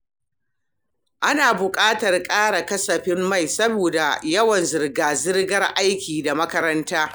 Ana buƙatar ƙara kasafin mai saboda yawan zirga-zirgar aiki da makaranta.